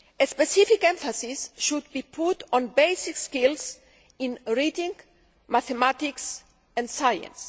Specific emphasis should be put on basic skills in reading, mathematics and science.